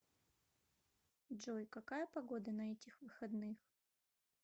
джой какая погода на этих выходных